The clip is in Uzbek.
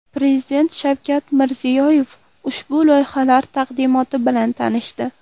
Prezident Shavkat Mirziyoyev ushbu loyihalar taqdimoti bilan tanishdi.